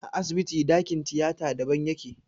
A asibiti ɗakin tiyata daban yake.